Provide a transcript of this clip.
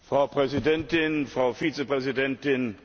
Frau Präsidentin, Frau Vizepräsidentin!